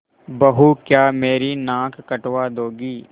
बहू क्या मेरी नाक कटवा दोगी